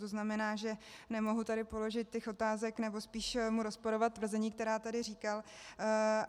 To znamená, že nemohu tady položit těch otázek, nebo spíš mu rozporovat tvrzení, která tady říkal.